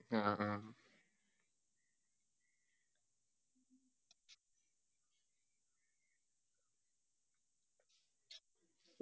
അ ആ